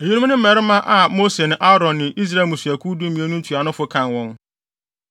Eyinom ne mmarima a Mose ne Aaron ne Israel mmusuakuw dumien no ntuanofo kan wɔn.